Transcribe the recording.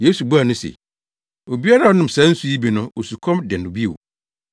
Yesu buaa no se, “Obiara a ɔnom saa nsu yi bi no, osukɔm de no bio,